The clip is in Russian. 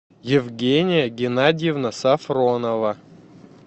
евгения геннадьевна сафронова